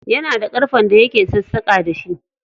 Yana da ƙarfen da yake sassaƙa da shi.